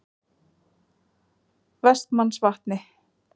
Vestmannsvatni